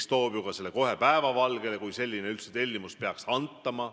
Ta toob ju kohe päevavalgele, kui selline tellimus peaks antama.